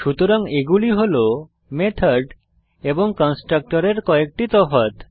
সুতরাং এগুলি হল মেথড এবং কনস্ট্রাক্টরের কয়েকটি তফাৎ